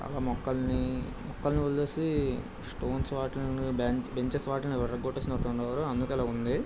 ఆ మొక్కల్ని మొక్కలవదిలేసి స్టోన్స్ వాటిని బెంచెస్ వాటిని విరగొట్టేసినట్టున్నారు.అందుకే ఇలా ఉంది.